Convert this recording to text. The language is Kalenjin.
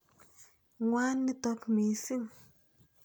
Ng'wan nitok missing'.